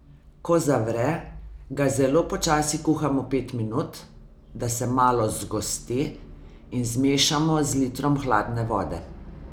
Ko zavre, ga zelo počasi kuhamo pet minut, da se malo zgosti, in zmešamo z litrom hladne vode.